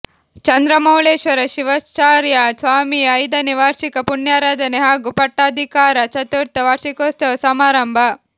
ಚಂದ್ರಮೌಳೇಶ್ವರ ಶಿವಾಚಾರ್ಯ ಸ್ವಾಮಿಯ ಐದನೇ ವಾರ್ಷಿಕ ಪುಣ್ಯಾರಾಧನೆ ಹಾಗೂ ಪಟ್ಟಾಧಿಕಾರ ಚತುರ್ಥ ವಾರ್ಷಿಕೋತ್ಸವ ಸಮಾರಂಭ